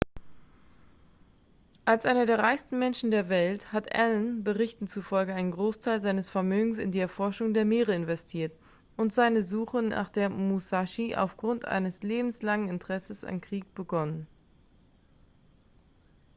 als einer der reichsten menschen der welt hat allen berichten zufolge einen großteil seines vermögens in die erforschung der meere investiert und seine suche nach der musashi aufgrund eines lebenslangen interesses am krieg begonnen